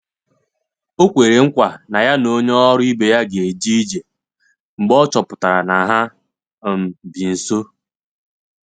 O kwere nkwa na ya na onye ọrụ ibe ya ga eje- ije mgbe ọ chọpụtara na ha um bi nso.